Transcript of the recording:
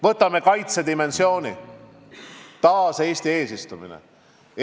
Võtame kaitsedimensiooni – taas Eesti eesistumine.